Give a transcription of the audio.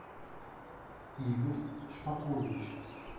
игорь шпакович